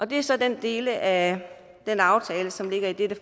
det er så den del af den aftale som ligger i det